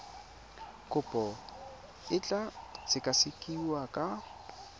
kopo e tla sekasekiwa ka